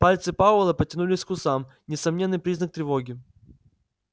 пальцы пауэлла потянулись к усам несомненный признак тревоги